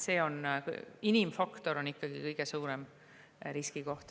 Inimfaktor on ikkagi kõige suurem riskikoht.